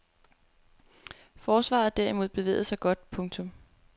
Forsvaret derimod bevægede sig godt. punktum